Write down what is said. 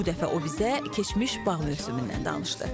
Bu dəfə o bizə keçmiş bağın üzümündən danışdı.